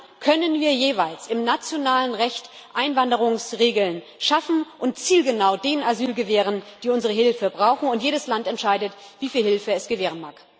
Und dann können wir jeweils im nationalen Recht Einwanderungsregeln schaffen und zielgenau denen Asyl gewähren, die unsere Hilfe brauchen, und jedes Land entscheidet, wie viel Hilfe es gewähren mag.